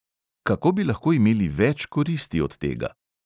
Kako bi lahko imeli več koristi od tega?